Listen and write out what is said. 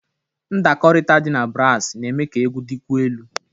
Ndakọrịta dị na brasi na-eme ka egwu dịkwuo elu.